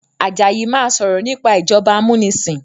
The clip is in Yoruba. Àjàyí má sọrọ nipa ìjọba amunisin